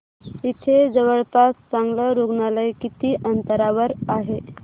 इथे जवळपास चांगलं रुग्णालय किती अंतरावर आहे